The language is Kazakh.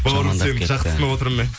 бауырым сені жақсы түсініп отырмын мен